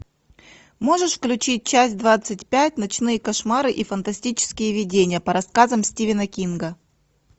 можешь включить часть двадцать пять ночные кошмары и фантастические видения по рассказам стивена кинга